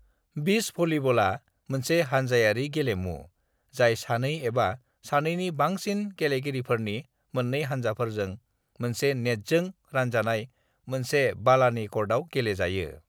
Beach भलिबला मोनसे हानजायारि गेलेमु जाय सानै एबा सानैनि बांसिन गेलेगिरिफोरनि मोन्नै हानजाफोरजों मोनसे नेटजों रानजानाय मोनसे बालानि कर्टाव गेले जायो।